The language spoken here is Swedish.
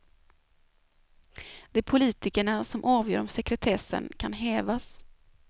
Det är politikerna som avgör om sekretessen kan hävas.